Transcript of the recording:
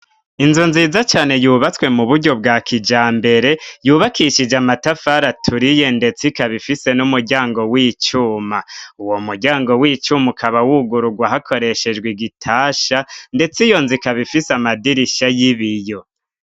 Inzu nziza cane yubatswe mu buryo bwa kijambere yubakishije amatafari aturiye ndetse ikaba ifise n'umuryango w'icuma uwo muryango w'icuma ukaba wugurugwa hakoreshejwe igitasha ndetse iyo nzu ikaba ifise amadirisha y'ibiyo.